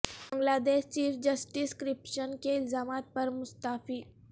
بنگلا دیش chief justice corruption کے الزامات پر مستعفی